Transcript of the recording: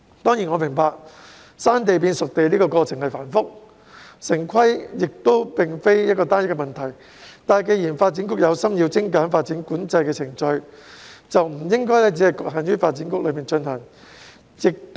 當然，我明白"生地"變"熟地"的過程繁複，城市規劃亦非單一的問題，但既然發展局有心精簡發展管制程序，便不應只局限在發展局內進行。